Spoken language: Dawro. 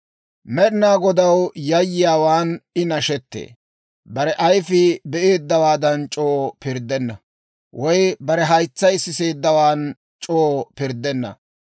Med'inaa Godaw yayyiyaawaan I nashetee; bare ayfii be'eeddawaan c'oo pirddenna; woy bare haytsay siseeddawaan c'oo pirddenna.